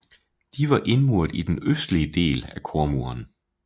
De var indmuret i den østlige del af kormuren